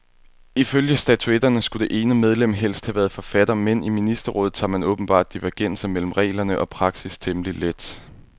Ifølge statutterne skulle det ene medlem helst have været forfatter, men i ministerrådet tager man åbenbart divergenser mellem regler og praksis temmelig let.